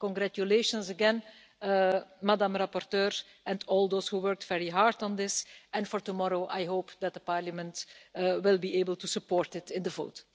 Congratulations again to Madam rapporteur and all those who worked very hard on this, and for tomorrow I hope that Parliament will be able to support it in the vote.